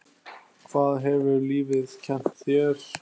Hvað hefur lífið kennt þér?